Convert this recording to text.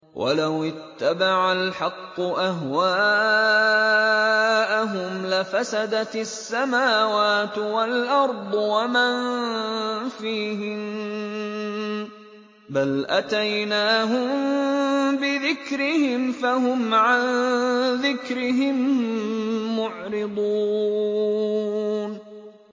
وَلَوِ اتَّبَعَ الْحَقُّ أَهْوَاءَهُمْ لَفَسَدَتِ السَّمَاوَاتُ وَالْأَرْضُ وَمَن فِيهِنَّ ۚ بَلْ أَتَيْنَاهُم بِذِكْرِهِمْ فَهُمْ عَن ذِكْرِهِم مُّعْرِضُونَ